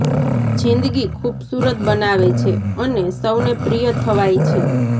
જિંદગી ખુબસૂરત બનાવે છે અને સૌને પ્રિય થવાય છે